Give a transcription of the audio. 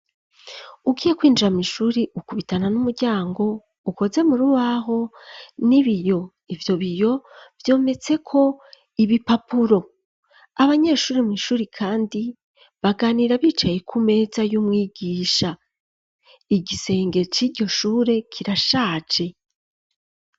Ugiye kwinjira mw'ishuri ukubitana n'umuryango ukoze murubaho n'ibiyo ivyo biyo vyometse ko ibipapuro abanyeshuri mw'ishuri kandi baganira bicaye ku meza y'umwigisha igisenge cijyoshure kirashaje.